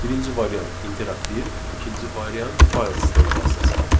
Birinci variant interaktiv, ikinci variant fayl sistemi vasitəsilə.